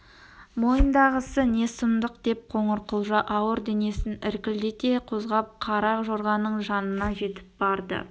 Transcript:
мойындағысы не сұмдық деп қоңырқұлжа ауыр денесін іркілдете қозғап қара жорғаның жанына жетіп барды